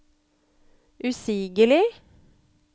usigelig